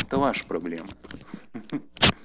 это ваши проблемы ха-ха